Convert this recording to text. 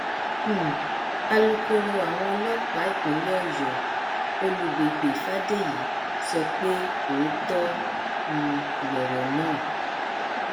um alūkkóró àwọn ọlọpàá ìpínlẹ ọyọ olùgbègbè fàdèyí sọ pé òótọ um lọrọ náà